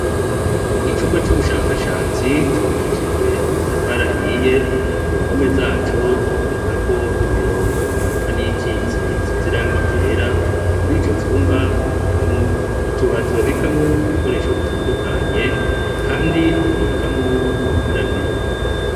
Icumba c' ubushakashatsi cubakishijw' amatafar'ahiye, kumpombe zaco habonekak' imirong' imanuka n'iyikits'isiz' irangi ryera, murico cumba habonekamw' utubati babikamw' ibikoresho bitandukanye, kandi habonekamwo n'ubukarabiro.